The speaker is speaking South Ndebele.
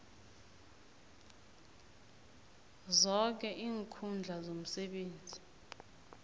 zoke iinkhundla zomsebenzi